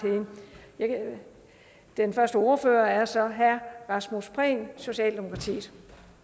den første ordfører er så herre rasmus prehn socialdemokratiet